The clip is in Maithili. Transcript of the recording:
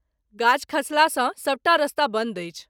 गाछ खसलासँ सबटा रस्ता बन्द अछि।